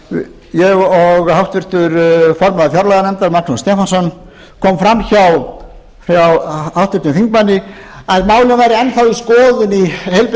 í hér ég og háttvirtur formaður fjárlaganefndar magnús stefánsson kom fram hjá háttvirtum þingmanni að málið væri enn þá í skoðun í heilbrigðis